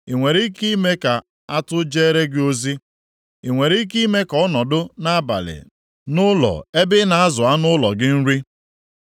“Ị nwere ike ime ka atụ jeere gị ozi? Ị nwere ike ime ka ọ nọdụ nʼabalị nʼụlọ ebe ị na-azụ anụ ụlọ gị nri?